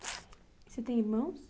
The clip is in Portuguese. Você tem irmãos?